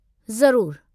ज़रूरु।